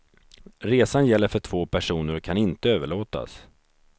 Resan gäller för två personer och kan inte överlåtas.